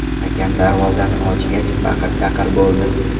Akam darvozani ochgach, baqir-chaqir bo‘ldi.